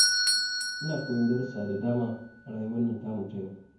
Ina koyon darussa da dama a rayuwar nan tamu ta yau.